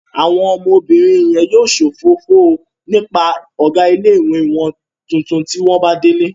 Àwọn ọmọbìnrin yẹn yóò sòfófó nípa ọ̀gá ilé-ìwé wọn tuntun bí wọ́n bá délé